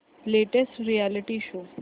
latest reality show